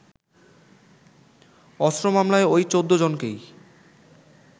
অস্ত্র মামলায় ওই ১৪ জনকেই